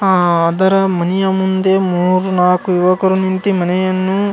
ಅಹ್ ಅದರ ಮನೆಯ ಮುಂದೆ ಮೂರು ನಾಕು ಯುವಕರು ನಿಂತಿ ಮನೆಯನ್ನು.